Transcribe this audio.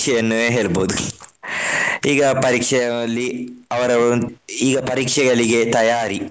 ಪರೀಕ್ಷೆಯನ್ನೇ ಹೇಳ್ಬಹುದು . ಈಗ ಪರೀಕ್ಷೆಯಲ್ಲಿ ಅವರವರು ಈಗ ಪರೀಕ್ಷೆಗಳಿಗೆ ತಯಾರಿ.